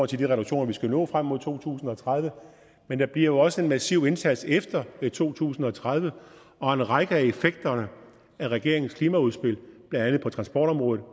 til de reduktioner vi skal nå frem mod to tusind og tredive men der bliver jo også en massiv indsats efter to tusind og tredive og en række af effekterne af regeringens klimaudspil blandt andet på transportområdet